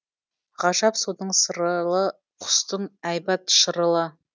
ғажап судың сырылы құстың әйбат шырылы